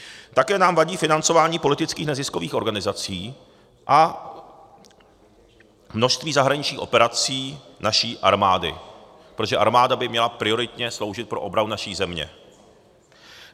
Také nám vadí financování politických neziskových organizací a množství zahraničních operací naší armády, protože armáda by měla prioritně sloužit pro obranu naší země.